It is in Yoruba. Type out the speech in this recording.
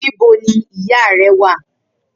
Nibò ni ìyá rè wà?